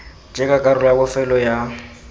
jaaka karolo ya bofelo ya